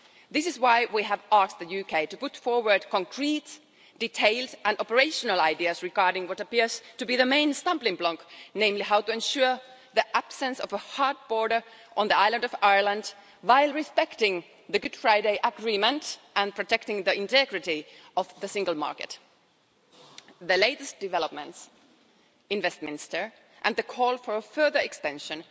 This is why we have asked the UK to put forward concrete details and operational ideas regarding what appears to be the main stumbling block, namely how to ensure the absence of a hard border on the island of Ireland, while respecting the Good Friday Agreement and protecting the integrity of the single market. The latest developments in Westminster and the call for a further extension